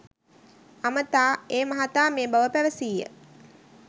අමතා ඒ මහතා මේ බව පැවසීය